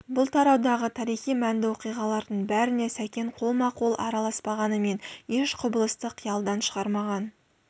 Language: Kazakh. бұл тараудағы тарихи мәнді оқиғалардың бәріне сәкен қолма-қол араласпағанымен еш құбылысты қиялдан шығармаған